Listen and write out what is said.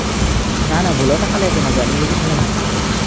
নাই ভূলতে খালে একো নহয়, জানি বুজি খালে ভাঙি যাব।